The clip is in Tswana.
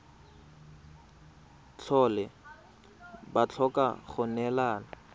tlhole ba tlhoka go neelana